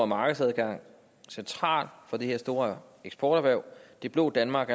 markedsadgang central for det her store eksporterhverv det blå danmark